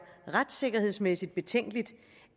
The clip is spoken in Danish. retssikkerhedsmæssigt betænkeligt